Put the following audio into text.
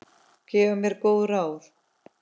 Gaf mér góð ráð.